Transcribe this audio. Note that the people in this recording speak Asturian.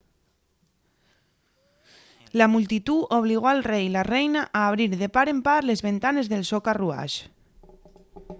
la multitú obligó al rei y la reina a abrir de par en par les ventanes del so carruax